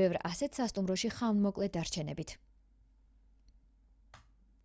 ბევრ ასეთ სასტუმროში ხანმოკლე დარჩენებით